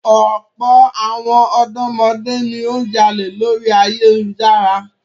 Ọ̀pọ̀ àwọn ọ̀dọ́mọdé ni ó ń jalè lórí ayélujára.